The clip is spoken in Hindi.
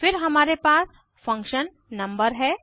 फिर हमारे पास फंक्शन नंबर है